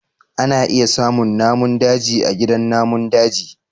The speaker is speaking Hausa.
ana iya samun namun daji a gidan namun daji